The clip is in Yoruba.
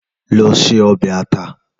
Lò sé òbè àtá